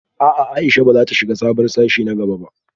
A'a Aisha bazata shiga sabon sashe na gaba ba